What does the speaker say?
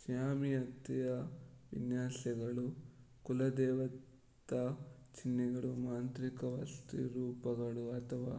ಜ್ಯಾಮಿತೀಯ ವಿನ್ಯಾಸಗಳು ಕುಲದೇವತಾ ಚಿಹ್ನೆಗಳು ಮಾಂತ್ರಿಕವಸ್ತುರೂಪಗಳು ಅಥವಾ